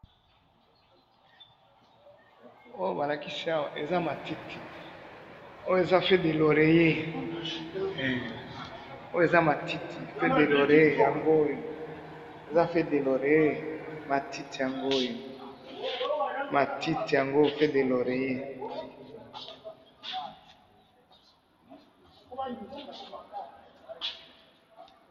oyo balakisi awa eza matiti ,oyo eza feuille de loreillet, hein feuillet de loreillet matiti ya ngoyo feuille de loreillet